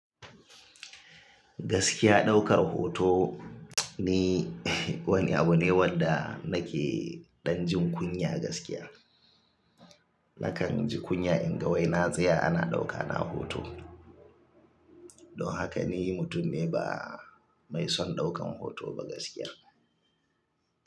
Gaskiya daukar hoto ni wani abu ne wanda nake ɗan jin kunya gaskiya. Nakan ji kunya in ga wai na tsaya ana ɗaukana a hoto. Don haka ni mutum ne ba mai son daukan hoto ba gaskiyar.